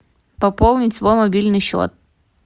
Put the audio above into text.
пополнить свой мобильный счет